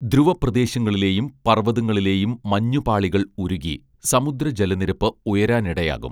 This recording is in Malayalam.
ധ്രുവ പ്രദേശങ്ങളിലെയും പർവതങ്ങളിലെയും മഞ്ഞു പാളികൾ ഉരുകി സമുദ്ര ജലനിരപ്പ് ഉയരാനിടയാകും